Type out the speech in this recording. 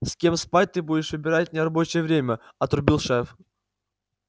с кем спать ты будешь выбирать в нерабочее время отрубил шеф